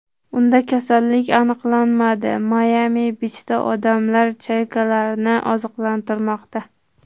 Unda kasallik aniqlanmadi Mayami-Bichda odamlar chaykalarni oziqlantirmoqda.